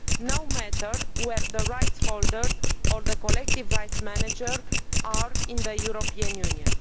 no matter where the rights holder or the collective rights manager is in the European Union.